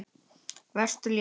Vertu léttur.